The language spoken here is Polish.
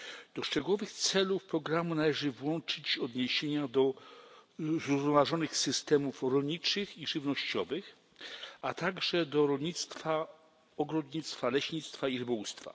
Do szczegółowych celów programu należy włączyć odniesienia do zrównoważonych systemów rolniczych i żywnościowych, a także do rolnictwa, ogrodnictwa, leśnictwa i rybołówstwa.